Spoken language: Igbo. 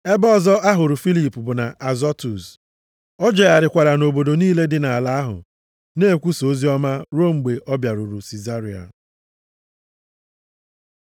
Ebe ọzọ a hụrụ Filip bụ nʼAzọtus. O jegharịkwara nʼobodo niile dị nʼala ahụ, na-ekwusa oziọma ruo mgbe ọ bịaruru Sizaria.